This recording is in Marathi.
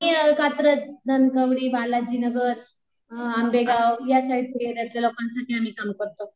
ते कात्रज बालाजी नगर, अ आंबेगाव या लोकांसाठी आम्ही काम करतो.